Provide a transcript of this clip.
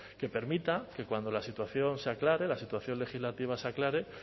que permita que cuando la situación se aclare la situación legislativa se aclare